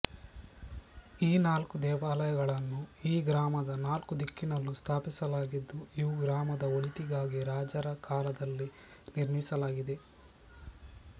ಈ ನಾಲ್ಕು ದೇವಾಲಯಗಳನ್ನು ಈ ಗ್ರಾಮದ ನಾಲ್ಕು ದಿಕ್ಕಿನಲ್ಲೂ ಸ್ಥಾಪಿಸಲಾಗಿದ್ದು ಇವು ಗ್ರಾಮದ ಒಳಿತಿಗಾಗಿ ರಾಜರ ಕಾಲದಲ್ಲಿ ನಿರ್ಮಿಸಲಾಗಿದೆ